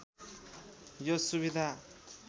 यो सुविधा